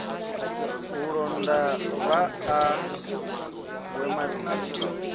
u londa vhaa we miḓini